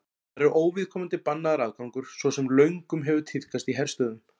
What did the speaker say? þar er óviðkomandi bannaður aðgangur svo sem löngum hefur tíðkast í herstöðvum